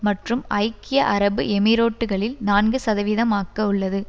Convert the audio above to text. மற்றும் ஐக்கிய அரபு எமிரோட்டுகளில் நான்கு சதவீதமாக்கவுள்ளது